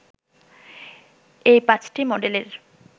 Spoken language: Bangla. এই ৫টি মডেলের